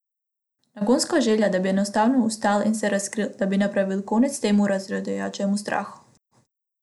O, nagonska želja, da bi enostavno vstal in se razkril, da bi napravil konec temu razjedajočemu strahu!